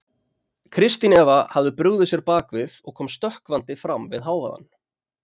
Kristín Eva hafði brugðið sér bak við og kom stökkvandi fram við hávaðann.